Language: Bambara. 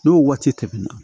N'o waati tɛmɛna